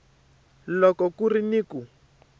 loko ku ri ni ku